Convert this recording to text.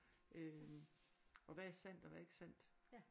Øh og hvad er sandt og hvad er ikke sandt